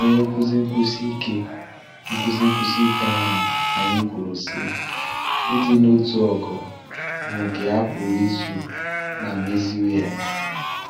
Onye nkuzi nkwụsi ike nkuzi nkwụsi ike ahụ́ anyị kwuru sị: Ịdị n’otu ogo bụ nke a pụrụ ịzụ ma meziwanye.